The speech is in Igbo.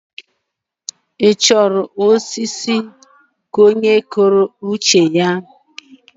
Ị chọrọ ọchịchị onyekwuoucheya?